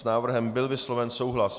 S návrhem byl vysloven souhlas.